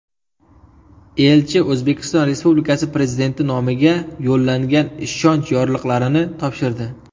Elchi O‘zbekiston Respublikasi Prezidenti nomiga yo‘llangan ishonch yorliqlarini topshirdi.